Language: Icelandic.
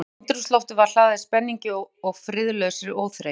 Andrúmsloftið var hlaðið spenningi- og friðlausri óþreyju.